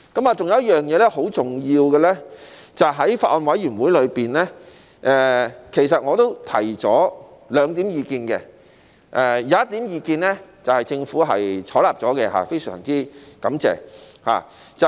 還有一點很重要的是，在法案委員會中，其實我也提出兩項意見，有一項意見獲政府採納了，非常感謝。